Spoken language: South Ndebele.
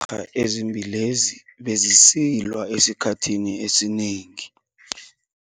ha ezimbili lezi bezisilwa esikhathini esinengi.